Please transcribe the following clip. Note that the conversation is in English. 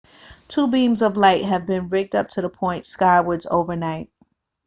two beams of light have been rigged up to point skywards overnight